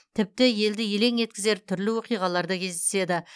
тіпті елді елең еткізген түрлі оқиғалар да кездеседі